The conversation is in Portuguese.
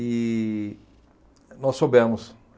E nós soubemos.